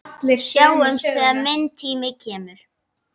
Sjáumst þegar minn tími kemur.